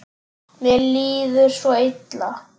Mér líður svo illa